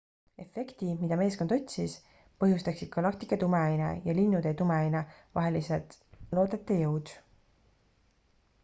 efekti mida meeskond otsis põhjustaksid galaktika tumeaine ja linnutee tumeaine vahelised loodete jõud